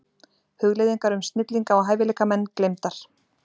Hugleiðingar um snillinga og hæfileikamenn gleymdar.